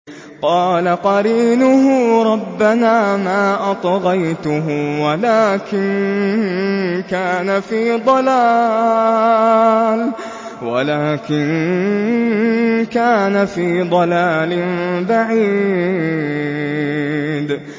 ۞ قَالَ قَرِينُهُ رَبَّنَا مَا أَطْغَيْتُهُ وَلَٰكِن كَانَ فِي ضَلَالٍ بَعِيدٍ